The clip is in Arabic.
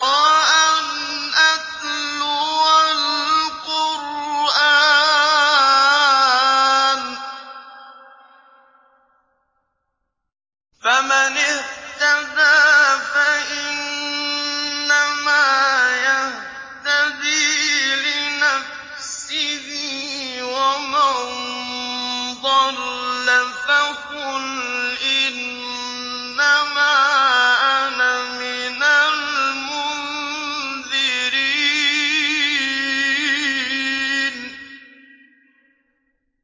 وَأَنْ أَتْلُوَ الْقُرْآنَ ۖ فَمَنِ اهْتَدَىٰ فَإِنَّمَا يَهْتَدِي لِنَفْسِهِ ۖ وَمَن ضَلَّ فَقُلْ إِنَّمَا أَنَا مِنَ الْمُنذِرِينَ